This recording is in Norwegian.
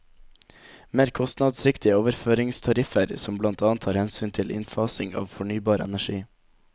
Mer kostnadsriktige overføringstariffer som blant annet tar hensyn til innfasing av fornybar energi.